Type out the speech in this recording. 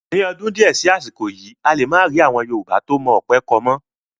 Ni ọdún di ẹ sì àsìkò yìí, a lè máa rí àwọn Yorùbá tó mọ ọ̀pẹ kọ mọ́